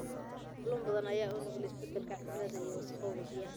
Kalluun badan ayaa u nugul isbedelka cimilada iyo wasakhowga biyaha.